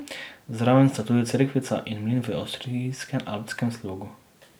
Zraven sta tudi cerkvica in mlin v avstrijskem alpskem slogu.